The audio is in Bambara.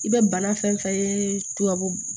I bɛ bana fɛn fɛn ye tubabu